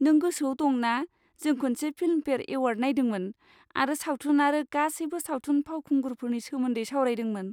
नों गोसोआव दं ना जों खनसे फिल्मफेयार एवार्ड नायदोंमोन आरो सावथुन आरो गासैबो सावथुन फावखुंगुरफोरनि सोमोन्दै सावरायदोंमोन।